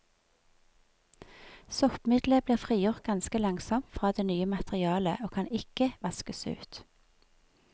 Soppmiddelet blir frigjort ganske langsomt fra det nye materialet, og kan ikke vaskes ut.